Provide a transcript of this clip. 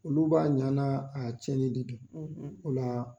Olu b'a ɲa n'a cɛni de don ola